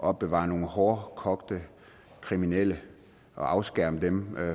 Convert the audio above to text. opbevare nogle hårdkogte kriminelle og afskærme dem